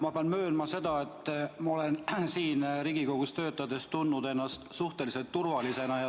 Ma pean möönma, et ma olen siin Riigikogus töötades tundnud ennast suhteliselt turvaliselt.